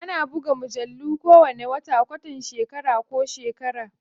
Ana buga mujallu kowane wata, kwatan shekara ko shekara.